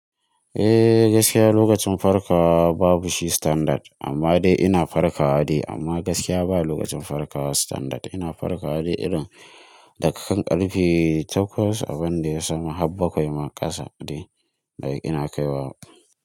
Eh gaskiya lokacin farkawa babu shi standard amma dai ina farkawa dai amma gaskiya ba lokacin farkawa standard. Ina farkawa dai irin da ka kan karfe takwas abin da ya samu har bakwai ma kasa dai ina kaiwa.